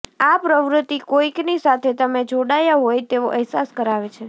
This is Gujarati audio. આ પ્રવૃત્તિ કોઈકની સાથે તમે જોડાયા હોય તેવો અહેસાસ કરાવે છે